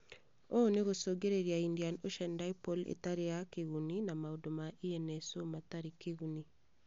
Ũũ nĩ gũcungĩrĩria Indian Ocean Dipole ĩtarĩ ya kĩguni na maũndũ ma ENSO matarĩ kĩguni